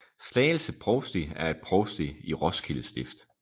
Slagelse Provsti er et provsti i Roskilde Stift